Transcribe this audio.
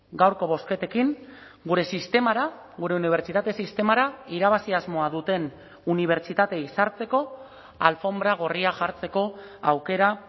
gaurko bozketekin gure sistemara gure unibertsitate sistemara irabazi asmoa duten unibertsitateei sartzeko alfonbra gorria jartzeko aukera